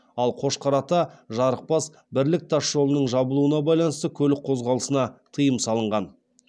ал қошқар ата жарықбас бірлік тасжолының жабылуына байланысты көлік қозғалысына тыйым салынған